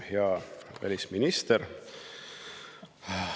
Hea välisminister!